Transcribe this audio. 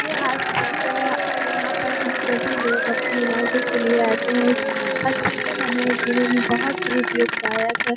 ये हॉस्पिटल है और यहाँ पर हम सभी लोग अपने इलाजों के लिए आते हैं हॉस्पिटल हमारे जीवन बोहुत ही उपयोगदायक है।